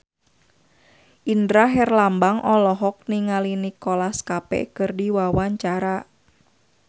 Indra Herlambang olohok ningali Nicholas Cafe keur diwawancara